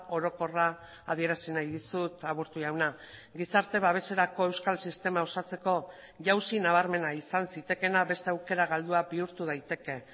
orokorra adierazi nahi dizut aburto jauna gizarte babeserako euskal sistema osatzeko jauzi nabarmena izan zitekeena beste aukera galdua bihurtu daiteke